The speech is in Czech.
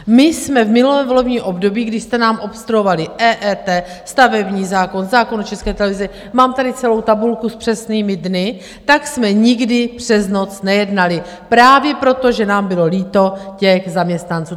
My jsme v minulém volebním období, když jste nám obstruovali EET, stavební zákon, zákon o České televizi, mám tady celou tabulku s přesnými dny, tak jsme nikdy přes noc nejednali právě proto, že nám bylo líto těch zaměstnanců.